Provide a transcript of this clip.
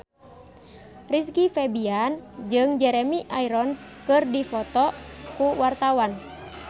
Rizky Febian jeung Jeremy Irons keur dipoto ku wartawan